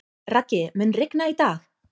Raggi, mun rigna í dag?